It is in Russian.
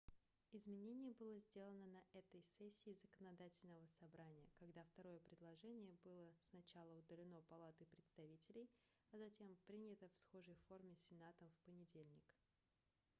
изменение было сделано на этой сессии законодательного собрания когда второе предложение было сначала удалено палатой представителей а затем принято в схожей форме сенатом в понедельник